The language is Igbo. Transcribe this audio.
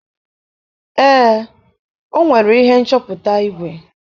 Ee, o nwere ihe nchọpụta igwe.